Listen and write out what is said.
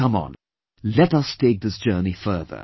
Come on, let us take this journey further